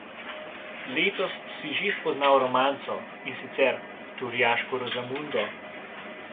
Letos si že spoznal romanco, in sicer Turjaško Rozamundo.